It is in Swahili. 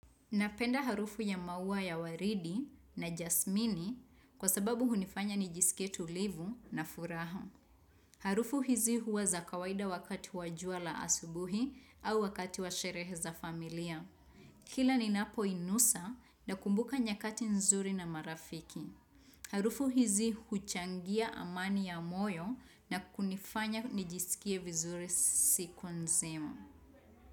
Napenda harufu ya maua ya waridi na jasmini kwa sababu hunifanya nijisikie tulivu na furaha. Harufu hizi huwa za kawaida wakati wa jua la asubuhi au wakati wa sherehe za familia. Kila ninapoinusa nakumbuka nyakati nzuri na marafiki. Harufu hizi huchangia amani ya moyo na kunifanya nijisikie vizuri siku nzima.